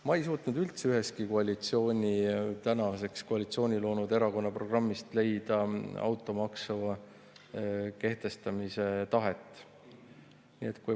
Ma ei suutnud ühestki tänaseks koalitsiooni loonud erakonna programmist leida automaksu kehtestamise tahet.